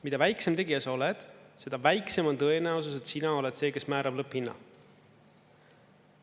Mida väiksem tegija sa oled, seda väiksem on tõenäosus, et sina oled see, kes määrab lõpphinna.